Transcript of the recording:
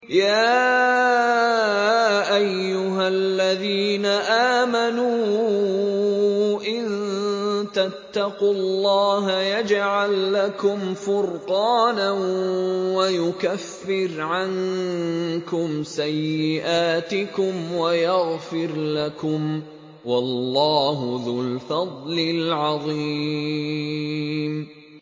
يَا أَيُّهَا الَّذِينَ آمَنُوا إِن تَتَّقُوا اللَّهَ يَجْعَل لَّكُمْ فُرْقَانًا وَيُكَفِّرْ عَنكُمْ سَيِّئَاتِكُمْ وَيَغْفِرْ لَكُمْ ۗ وَاللَّهُ ذُو الْفَضْلِ الْعَظِيمِ